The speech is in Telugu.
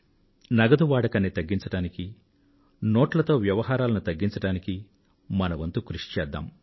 నగదు వాడకాన్ని తగ్గించానికీ నోట్లతో వ్యవహారాలను తగ్గించడానికీ మన వంతు కృషి చేద్దాం